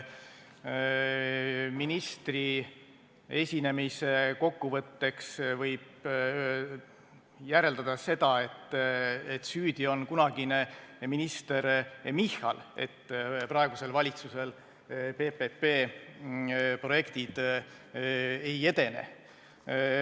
Ja ministri esinemise kokkuvõtteks võib järeldada seda, et süüdi on kunagine minister Michal ja sellepärast praegusel valitsusel PPP projektid ei edene.